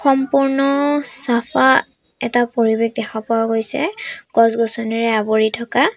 সম্পূৰ্ণ চাফা এটা পৰিৱেশ দেখা পোৱা গৈছে গছ-গছনিৰে আৱৰি থকা।